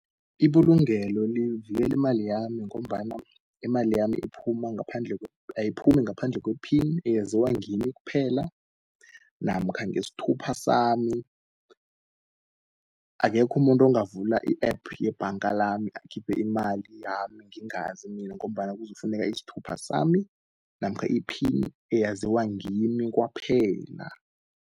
Ibulungelo livikeli imali yami ngombana imali yami ayiphumi ngaphandle kwe-phini, eyaziwa ngimphela namkha ngesthupha sami. Akekho umuntu ongavula i-App yebhanga lami akhiphe imali yami ngingazi mina, ngombana kuzokufuneka isthupha sami namkha iphini eyaziwa ngimi kwaphela.